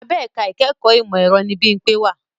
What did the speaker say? Abẹ ẹ̀ka ìkẹ́kọ̀ọ́ ìmọ̀ ẹ̀rọ ni Bímpé wà